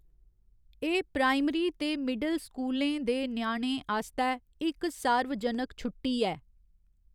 एह्‌‌ प्राइमरी ते मिडल स्कूलें दे ञ्याणें आस्तै इक सार्वजनिक छुट्टी ऐ।